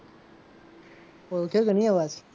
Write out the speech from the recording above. ઓળખ્યો કે નહીં અવાજ?